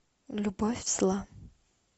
любовь зла